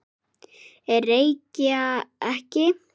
Reykja ekki.